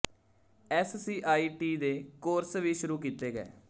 SC I T ਦੇ ਕੋਰਸ ਵੀ ਸ਼ੁਰੂ ਕੀਤੇ ਗਏ